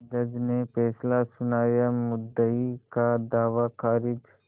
जज ने फैसला सुनायामुद्दई का दावा खारिज